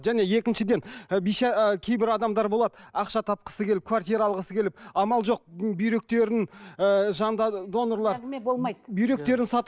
және екіншіден і ы кейбір адамдар болады ақша тапқысы келіп квартира алғысы келіп амал жоқ бүйректерін ыыы донорлар әңгіме болмайды бүйректерін